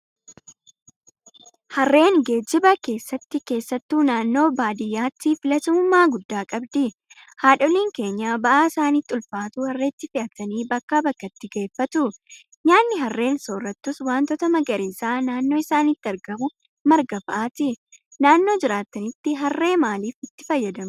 Harreen geejiba keessatti keessattuu naannoo baadiyyaatti filatamummaa guddaa qabdi. Haadholiiin keenya ba'aa isaanitti ulfaatu Harreetti fe'atanii bakkaa bakkatti geeffatu. Nyaanni Harreen soorrattus waantota magariisaa naannoo isaaniitti argamu marga fa'aati. Naannoo jiraattanitti Harree maaliif itti fayyadamtu?